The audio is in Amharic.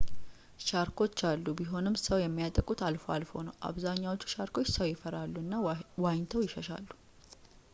ሻርኮች አሉ ቢሆንም ሰው የሚያጠቁት አልፎ አልፎ ነው አብዛኛዎቹ ሻርኮች ሰው ይፈራሉ እና ዋኝተው ይሸሻሉ